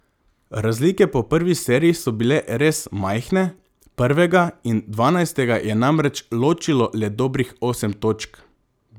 Razlike po prvi seriji so bile res majhne, prvega in dvanajstega je namreč ločilo le dobrih osem točk.